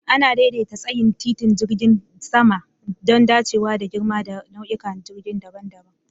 Ana daidaita tsayin titin jirgin sama don dacewa da girma da nau'ikan jirgin daban-daban.